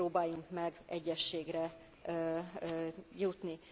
van rá. Próbáljunk meg egyességre